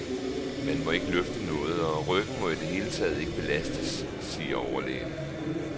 Man må ikke løfte noget, og ryggen må i det hele taget ikke belastes, siger overlægen.